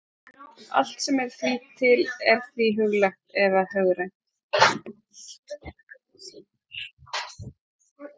Allt sem er því til er því huglægt eða hugrænt.